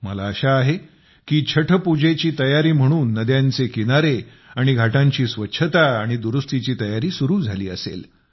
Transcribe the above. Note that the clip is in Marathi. मला आशा आहे की छठपूजेची तयारी म्हणून नद्यांचे किनारे आणि घाटांची स्वच्छता आणि दुरुस्तीची तयारी सुरू झाली असेल